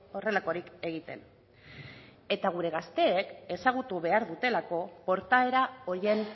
horrelakorik egiten eta gure gazteek ezagutu behar dutelako portaera horien